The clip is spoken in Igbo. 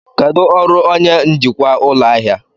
Kedu ọrụ onye njikwa ụlọ ahịa?